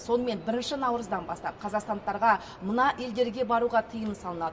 сонымен бірінші наурыздан бастап қазақстандықтарға мына елдерге баруға тиым салынады